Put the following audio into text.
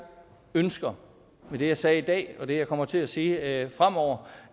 ønsker med det jeg sagde i dag og det jeg kommer til at sige fremover